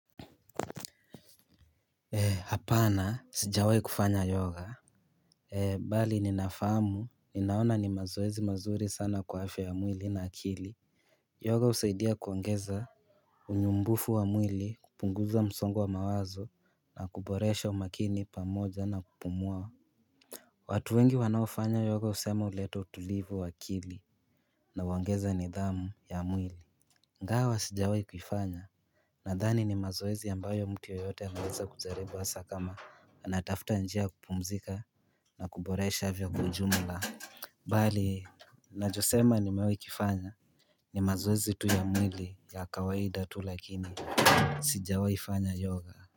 Hapana sijawai kufanya yoga. Bali ninafahamu ninaona ni mazoezi mazuri sana kwa afya ya mwili na akili Yoga husaidia kuongeza unyumbufu wa mwili, kupunguza msongo wa mawazo na kuboresha umakini pamoja na kupumua watu wengi wanaofanya yoga husema huleta utulivu wa akili na huongeza nidhamu ya mwili Ingawa sijawahi kuifanya nadhani ni mazoezi ambayo mtu yoyote anaweza kujaribu hasa kama anatafuta njia kupumzika na kuboresha afya kwa ujumla Bali nachosema nimewahi kifanya ni mazoezi tu ya mwili ya kawaida tu lakini sijawahi fanya yoga.